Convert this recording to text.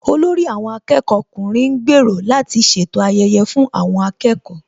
Olórí àwọn akẹ́kọ̀ọ́ ọkùnrin ń gbèrò láti ṣètò ayẹyẹ fún àwọn akẹ́kọ̀ọ́